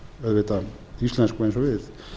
auðvitað íslensku eins og við